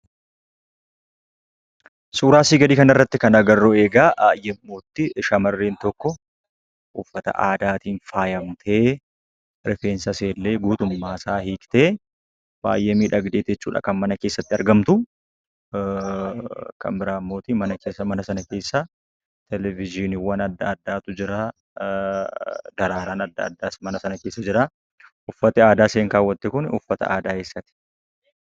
Suuraa asii gadii kana irratti kan agarru egaa yemmuu itti shamarreen tokko uffata aadaatiin faayamtee, rifeensa ishee illee guutummaa isaa hiiktee, baay'ee miidhagdeeti jechuudha kan mana keessatti argamtu. Kan biraa immoo, mana sana keessa 'Teelevizyiinii' adda addaatu jira. Daraaraan adda addaas mana sana keessa jira. Uffatni aadaa isheen kaawwatte kun uffata aadaa eessaati?